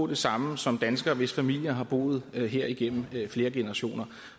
det samme som danskere hvis familier har boet her igennem flere generationer